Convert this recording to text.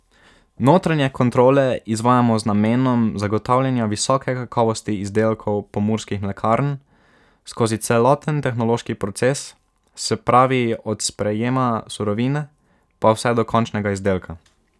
Notranje kontrole izvajamo z namenom zagotavljanja visoke kakovosti izdelkov Pomurskih mlekarn skozi celoten tehnološki proces, se pravi od sprejema surovine, pa vse do končnega izdelka.